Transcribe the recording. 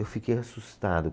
Eu fiquei assustado.